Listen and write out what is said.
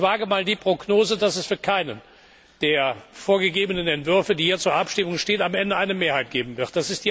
Ich wage einmal die Prognose, dass es für keinen der vorgegebenen Entwürfe, die hier zur Abstimmung stehen, am Ende eine Mehrheit geben wird.